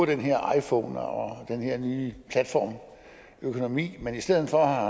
den her iphone og den her nye platform og økonomi men i stedet for af